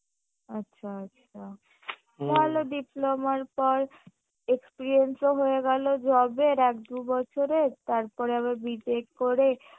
আচ্ছা আচ্ছা ভালো diploma র পর experience ও হয়ে গেলো job এর এক দুবছরের তারপর আবার B tech করে